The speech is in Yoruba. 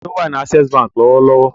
Ta ni ó wà ní Access Báńkì lọ́wọ́lọ́wọ́?